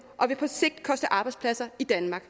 og vil på sigt koste arbejdspladser i danmark